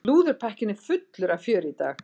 Slúðurpakkinn er fullur af fjöri í dag.